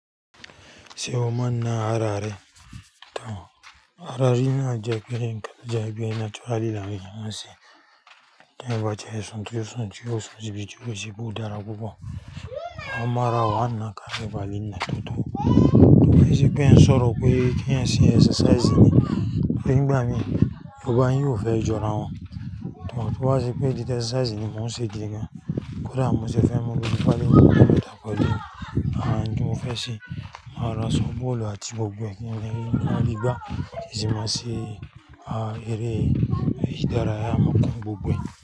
Ṣé o má ń nà ara rẹ? Ara niná jẹ́ pé ńkan jẹ́ bí natural léèyàn ń ṣe. Ẹ̀wà tí a yóò san ju san ju san ju ibi tí ó ṣe bú darapọ̀. Àwọn ọmọ ara wọn náà ká ìbàlé náà tán. Kíni pé ń sọ̀rọ̀ pé kí ẹ ṣe exercise ni, pé gbogbo ẹ̀yin ò fẹ́ jọ ara wọn. Tán tí wọ́n á ṣe pé ìdí exercise ni wọ́n ó ṣe gidi gan. Kódà mo ṣe fẹ́ mọ bí ìbàlé náà ṣe dá pọ̀ ju àwọn ohun tí mo fẹ́ ṣe. Máa ra soccer ball àti gbogbo ẹ̀yin lè rí, máa rí gbá, ìṣe máa ṣe, aá, eré ìdárayá máa kan gbogbo ẹ̀yin.